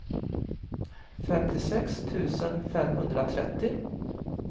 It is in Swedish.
femtiosex tusen femhundratrettio